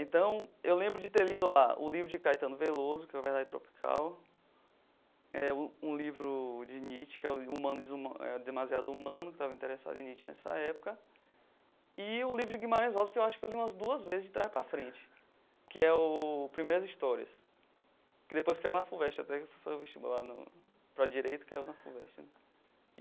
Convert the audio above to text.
Então, eu lembro de ter lido lá o livro de Caetano Veloso, que é o Verdade Tropical, eh um livro de Nietzsche, que é Humano Demasiado Humano, que estava interessado em Nietzsche nessa época, e o livro de Guimarães Rosa, que eu acho que li umas duas vezes de trás para frente, que é o Primeiras Histórias, que depois caiu na Fuvest, até que eu fui vestibular no para a direito e caiu na Fuvest né.